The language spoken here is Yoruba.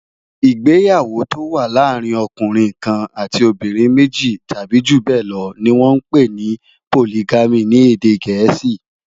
Igbéyàwó tó wà làárin òkúnrin kán àtí óbìrín méji tàbi júbèlò ni wòn mà n pé ni Pólìgàmí ni édé gẹẹsi